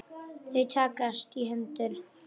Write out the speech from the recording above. Þau takast í hendur.